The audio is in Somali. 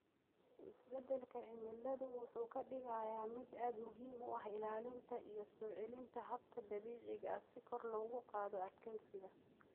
Isbeddelka cimiladu wuxuu ka dhigayaa mid aad muhiim u ah ilaalinta iyo soo celinta hababka dabiiciga ah si kor loogu qaado adkeysiga.